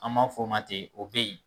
An b'a fɔ o ma ten o bɛ yen